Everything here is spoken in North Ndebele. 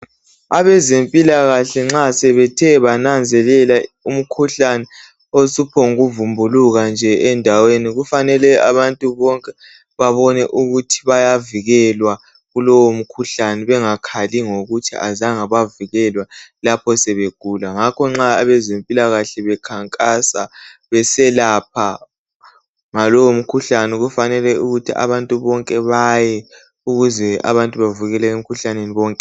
Abezempilakahle nxa sebethe bananzelela umkhuhlane osuphongu vumbuluka nje endaweni kufanele abantu bonke babone ukuthi bayavikelwa kulomkhuhlane bengakhali ngokuthi azange bavikelwa lapho sebegula. Ngakho nxa abezempilakahle sebekhankasa beselapha ngalowo mkhuhlane kufanele ukuthi abantu bonke baye ukuze abantu bavikelwe emikhuhlaneni bonke .